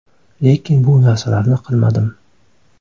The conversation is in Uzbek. Lekin bu narsalarni qilmadim.